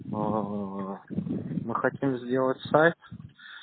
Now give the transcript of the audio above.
аа мы хотим сделать сайт